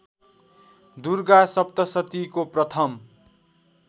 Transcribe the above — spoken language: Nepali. दुर्गा सप्तशतीको प्रथम